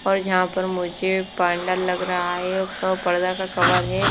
और यहां पर मुझे पांडाल लग रहा है एक पर्दा का कवर है।